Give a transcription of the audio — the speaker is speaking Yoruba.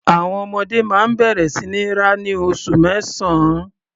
Àwọn ọmọdé máa ń bẹ̀rẹ̀ sí ní rá ní oṣù mẹ́sàn-án.